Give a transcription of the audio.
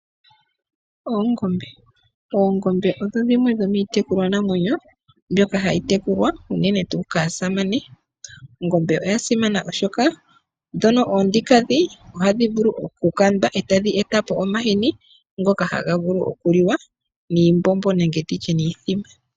Oongombe, oongombe odho dhimwe dhomiitekulwanamwenyo mbyoka hayi tekula unene tuu kaasamane. Odha simana oshoka ndhono oonkiintu ohadhi vulu oku kandwa eta dhi eta po omahini ngono haga vulu okuliwa niimbombo.